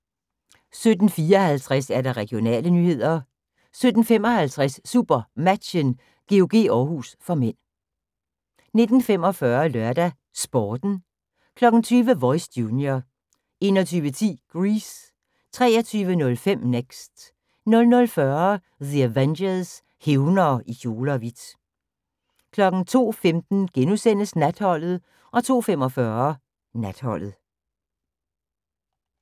17:54: Regionale nyheder 17:55: SuperMatchen: GOG-Århus (m) 19:45: LørdagsSporten 20:00: Voice – junior 21:10: Grease 23:05: Next 00:40: The Avengers – Hævnere i kjole og hvidt 02:15: Natholdet * 02:45: Natholdet